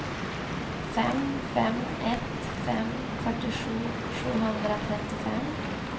fem fem ett fem fyrtiosju sjuhundratrettiofem